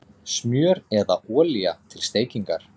Smjör eða olía til steikingar